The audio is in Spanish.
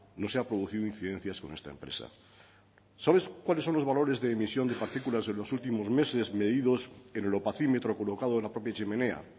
no se han producido incidencias con esta empresa sabes cuáles son los valores de emisión de partículas en los últimos meses medidos en el opacímetro colocado en la propia chimenea